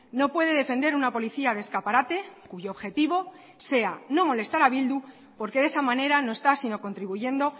no puede defender una policía de escaparate cuyo objetivo sea no molestar a bildu porque de esa manera no está sino contribuyendo